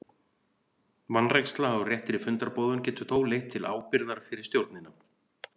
Vanræksla á réttri fundarboðun getur þó leitt til ábyrgðar fyrir stjórnina.